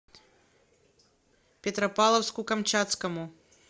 петропавловску камчатскому